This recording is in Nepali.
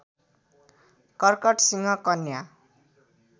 कर्कट सिंह कन्या